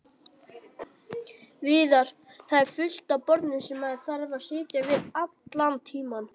Viðar: Það er fullt af borðum sem maður þarf að sitja við allan tímann.